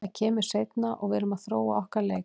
Það kemur seinna og við erum að þróa okkar leik.